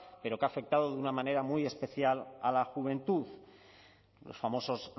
pero que ha afectado de una manera muy especial a la juventud los famosos